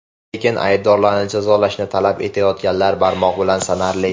Lekin aybdorlarni jazolashni talab etayotganlar barmoq bilan sanarli.